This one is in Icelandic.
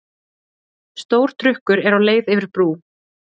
Stór trukkur er á leið yfir brú.